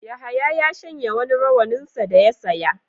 Yahaya ya shanya wani rawaninsa da ya saya.